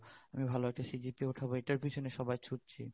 আমি ভাল একটা CGPA উঠাবো এটার পেছনে সবাই ছুটছি